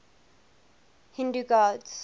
hindu gods